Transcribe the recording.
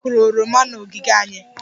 Anyị kụrụ oroma n'ogige anyị